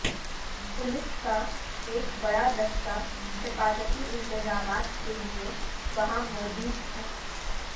police کا ایک بڑا دستہ حفاظتی انتظامات کے لئے وہاں موجود تھا